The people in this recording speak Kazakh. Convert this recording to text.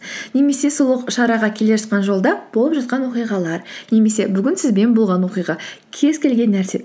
немесе сол шараға келе жатқан жолда болып жатқан оқиғалар немесе бүгін сізбен болған оқиға кез келген нәрсе